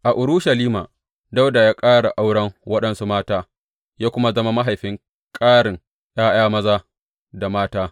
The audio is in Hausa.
A Urushalima, Dawuda ya ƙara auren waɗansu mata, ya kuma zama mahaifin ƙarin ’ya’yan maza da mata.